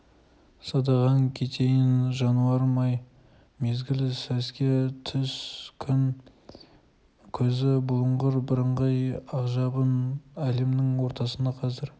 садағаң кетейін жануарым-ай мезгіл сәске түс күн көзі бұлыңғыр бірыңғай ақжабын әлемнің ортасында қазір